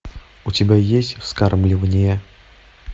у тебя есть вскармливание